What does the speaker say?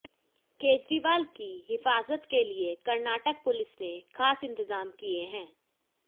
केजरीवाल की हिफाजत के लिए कर्नाटक पुलिस ने खास इंतजाम किए हैं